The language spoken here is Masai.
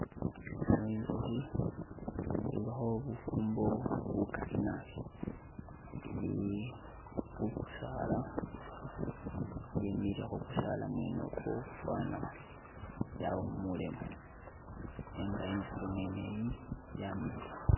Ino inzukhi, ilikho bufumbo bukali naabi ili khu kusaala, ye'mile khu kusaala mwene okwo fwana yawumulemo nenga inzukhi mwene iyi yamiliya.